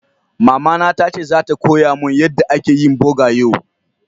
Mama na ta ce zata koya mun yadda ake yin boga yau.